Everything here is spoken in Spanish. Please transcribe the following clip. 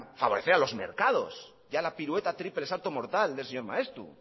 favorecer a los mercados ya la pirueta triple salto mortal del señor maeztu